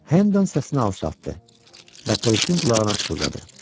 Hennon səsini alçaltdı və polisin qulağına pıçıldadı.